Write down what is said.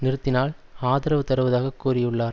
நிறுத்தினால் ஆதரவு தருவதாக கூறியுள்ளார்